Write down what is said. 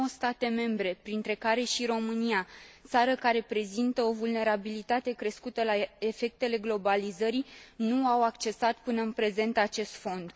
Nouă state membre, printre care și România, țară care prezintă o vulnerabilitate crescută la efectele globalizării, nu au accesat până în prezent acest fond.